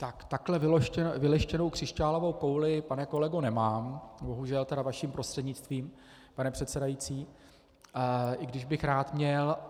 Tak takhle vyleštěnou křišťálovou kouli, pane kolego, nemám, bohužel tedy, vaším prostřednictvím, pane předsedající, i když bych rád měl.